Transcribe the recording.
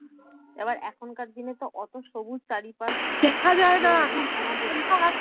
এবার এখন কার দিনে তো অত সবুজ চারিপাশ আমাদের